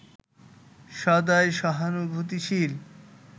সদাই সহানুভূতিশীল